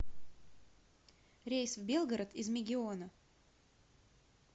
рейс в белгород из мегиона